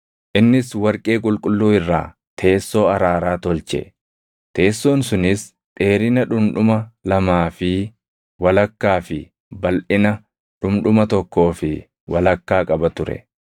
Innis warqee qulqulluu irraa teessoo araaraa tolche; teessoon sunis dheerina dhundhuma lamaa fi walakkaa fi balʼina dhundhuma tokkoo fi walakkaa qaba ture.